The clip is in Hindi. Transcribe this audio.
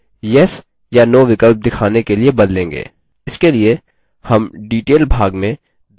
हम इसे अनुकूल yes या no विकल्प दिखाने के लिए बदलेंगे